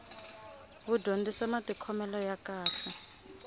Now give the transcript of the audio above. wu dyondzisa matikhomele ya kahle